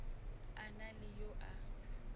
a na le yo a